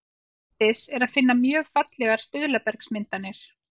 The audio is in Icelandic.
Erlendis er að finna mjög fallegar stuðlabergsmyndanir.